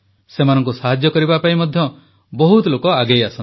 ସେମାନଙ୍କୁ ସାହାଯ୍ୟ କରିବା ପାଇଁ ମଧ୍ୟ ବହୁତ ଲୋକ ଆଗେଇ ଆସନ୍ତି